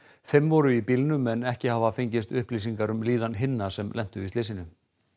fimm voru í bílnum en ekki hafa fengist upplýsingar um líðan hinna sem lentu í slysinu